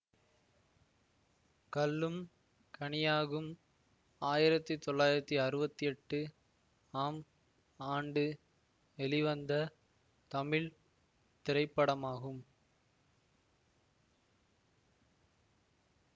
கல்லும் கனியாகும் ஆயிரத்தி தொளாயிரத்தி அறுபத்தி எட்டு ஆம் ஆண்டு வெளிவந்த தமிழ் திரைப்படமாகும்